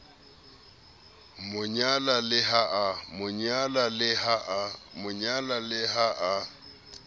mo nyala le ha a